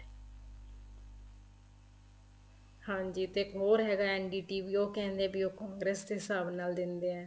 ਹਾਂਜੀ ਤੇ ਇੱਕ ਹੋਰ ਹੈਗਾ ND TV ਉਹ ਕਹਿੰਦੇ ਉਹ congress ਦੇ ਹਿਸਾਬ ਨਾਲ ਦਿੰਦੇ ਏ